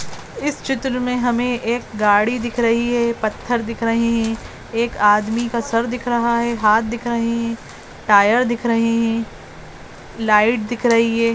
इस चित्र में हमें एक गाडी दिख रही है पत्थर दिख रहे हैं एक आदमी का सर दिख रहा है हात दिख रहे है टायर दिख रहे हैं लाइट दिख रही है।